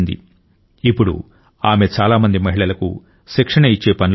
ఇప్పుడు ఆమె చాలా మంది మహిళలకు శిక్షణ ఇచ్చే పనిలో ఉన్నారు